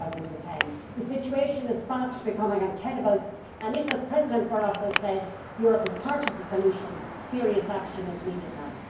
2010. The situation is fast becoming untenable and if, as President Barroso said, Europe is part of the solution, serious action is needed now.